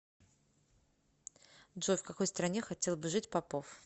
джой в какой стране хотел бы жить попов